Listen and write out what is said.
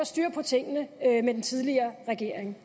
styr på tingene under den tidligere regering